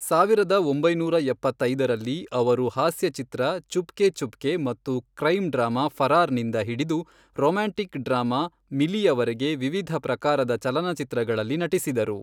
ಸಾವಿರದ ಒಂಬೈನೂರ ಎಪ್ಪತ್ತೈದರಲ್ಲಿ, ಅವರು ಹಾಸ್ಯಚಿತ್ರ ಚುಪ್ಕೆ ಚುಪ್ಕೆ ಮತ್ತು ಕ್ರೈಮ್ ಡ್ರಾಮಾ ಫರಾರ್ ನಿಂದ ಹಿಡಿದು ರೋಮ್ಯಾಂಟಿಕ್ ಡ್ರಾಮಾ ,ಮಿಲಿ, ಯವರೆಗೆ ವಿವಿಧ ಪ್ರಕಾರದ ಚಲನಚಿತ್ರಗಳಲ್ಲಿ ನಟಿಸಿದರು.